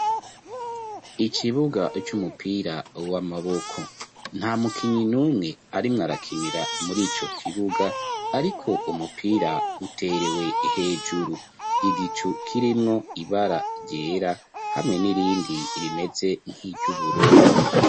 Ikibuga c'umupira w'amaboko, nta mukinyi numwe arimw'arakinira muri ico kibuga, ariko umupira uterewe hejuru. Igicu kirimwo ibara ryera hamwe n'irindi rimeze nk'iry'ubururu.